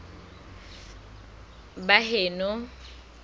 baheno